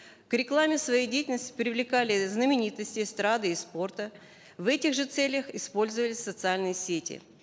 к рекламе своей деятельности привлекали знаменитостей эстрады и спорта в этих же целях использовались социальные сети